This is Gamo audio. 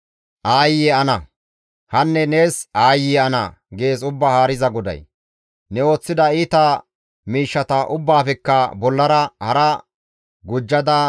« ‹Aayye ana! Hanne nees aayye ana!› gees Ubbaa Haariza GODAY; ne ooththida iita miishshata ubbaafekka bollara hara gujjada,